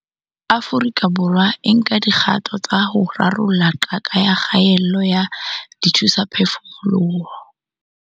Afrika Borwa e nka dikgato tsa ho rarolla qaka ya kgaello ya dithusaphefumoloho.